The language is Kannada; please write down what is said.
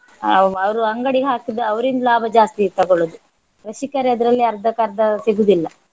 ಅಹ್ ಅವರು ಅಂಗಡಿ ಹಾಕಿದ ಅವರಿಂದ ಲಾಭ ಜಾಸ್ತಿ ತಗೊಳ್ಳುವುದು ಕೃಷಿಕರು ಅದರಲ್ಲಿ ಅರ್ದಕ್ಕರ್ದ ಸಿಗುದಿಲ್ಲ.